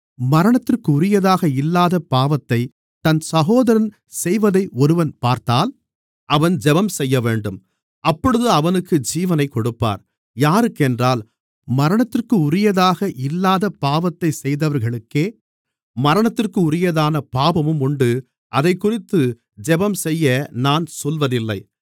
மரணத்திற்குரியதாக இல்லாத பாவத்தைத் தன் சகோதரன் செய்வதை ஒருவன் பார்த்தால் அவன் ஜெபம் செய்யவேண்டும் அப்பொழுது அவனுக்கு ஜீவனைக் கொடுப்பார் யாருக்கென்றால் மரணத்திற்குரியதாக இல்லாத பாவத்தைச் செய்தவர்களுக்கே மரணத்திற்குரியதான பாவமும் உண்டு அதைக்குறித்து ஜெபம்செய்ய நான் சொல்வதில்லை